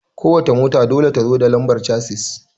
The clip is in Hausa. Ko wace mota dole ta zo da lambar casis